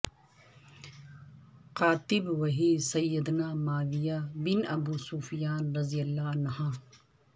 کاتب وحی سیدنا معاویہ بن ابو سفیان رضی اللہ عنہما